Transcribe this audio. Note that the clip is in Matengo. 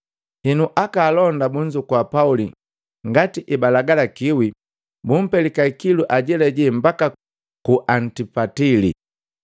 “Henu, aka alonda bunzukua Pauli ngati ebaalagalakiwi bumpelika ikilu ajelajela mbaka ku Antipatili.